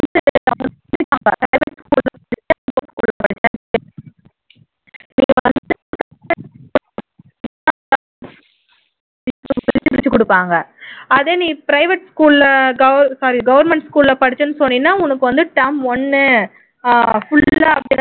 பிரிச்சு குடுப்பாங்க அதை நீ private school ல sorry government school ல படிச்சேன்னு சொன்னீன்னா உனக்கு வந்து term ஒண்ணு full ஆ